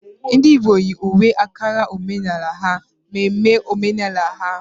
Ndị Igbo yi uwe Ankara omenala ha mere mmemme omenala ha.